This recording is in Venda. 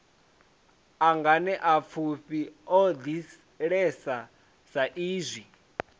a nganeapfufhi o ḓalesa saizwi